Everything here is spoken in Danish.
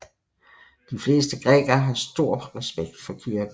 De fleste grækere har stor respekt for kirken